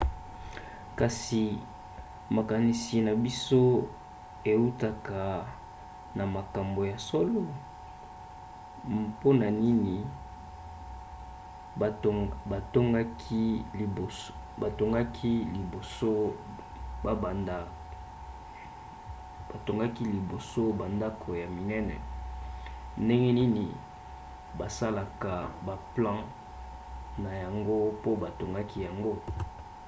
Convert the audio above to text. kasi makinisi na biso eutaka na makambo ya solo? mpona nini batongaki liboso bandako ya minene? ndenge nini basalaka baplan na yango pe batongaki yango?